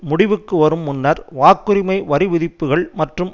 முடிவுக்கு வரும் முன்னர் வாக்குரிமை வரி விதிப்புக்கள் மற்றும்